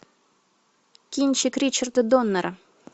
кинчик ричарда доннера